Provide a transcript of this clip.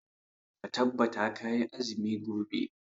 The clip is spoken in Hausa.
Ka tabbata kayi azumi gobe.